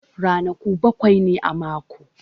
Ranaku bakwai ne a mako.